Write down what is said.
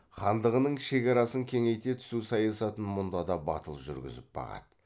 хандығының шекарасын кеңейте түсу саясатын мұнда да батыл жүргізіп бағады